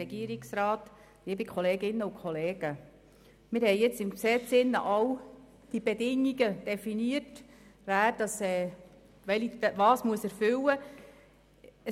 Wir haben nun im Gesetz alle Bedingungen definiert, dahingehend, wer was erfüllen muss.